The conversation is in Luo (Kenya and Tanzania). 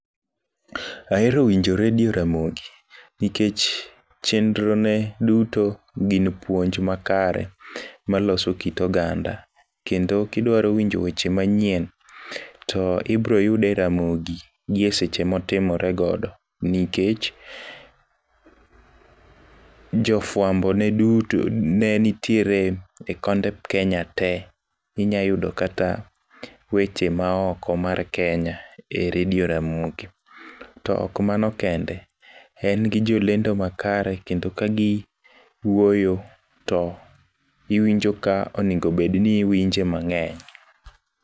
Ahero winjo redio Ramogi nikech chenro ne duto gin puonj ma kare maloso kit oganda . Kendo kidwaro winjo weche manyien to ibro yude ramogi gi e seche motimore godo nikech jofwambo ne duto ne nitiere e konde kenya tee. Inya yudo kata weche maoko mar kenya e redio Ramogi. To ok mano kende en gi jolendo makare kendo ka giwuoyo to iwinjo ka onego bed ni iwinje mang'eny.